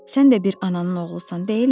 Sən də bir ananın oğlusan, deyilmi?